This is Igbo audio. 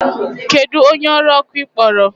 Kedu onye ọrụ ọkụ ị kpọrọ?